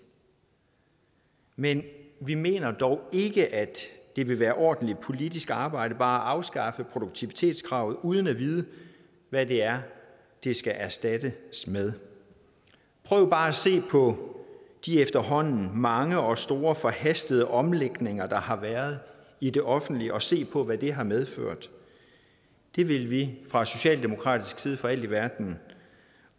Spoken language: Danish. men vi mener dog ikke at det vil være ordentligt politisk arbejde bare at afskaffe produktivitetskravet uden at vide hvad det er det skal erstattes med prøv bare at se på de efterhånden mange og store forhastede omlægninger der har været i det offentlige og se på hvad det har medført det vil vi fra socialdemokratisk side for alt i verden